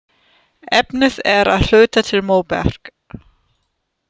Efnið er að hluta til móberg.